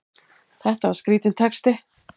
Þetta var skrítinn texti!